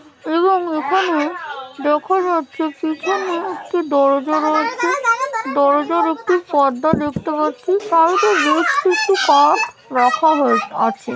এবং এখানে দেখা যাচ্ছে এখানে একটি দরজা রয়েছে দরজার একটি পর্দা দেখতে পাচ্ছি একটু একটু কর রাখা হয়ে আছে ।